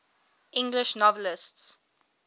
english novelists